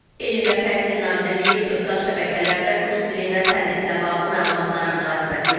Elm və Təhsil Nazirliyi sosial şəbəkələrdə rus dilində tədrislə bağlı məlumatlara münasibət bildirib.